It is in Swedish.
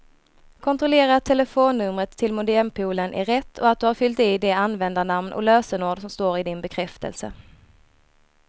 Kontrollera att telefonnumret till modempoolen är rätt och att du har fyllt i det användarnamn och lösenord som står i din bekräftelse.